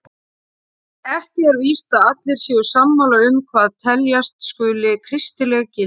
Ekki er víst að allir séu sammála um hvað teljast skuli kristileg gildi.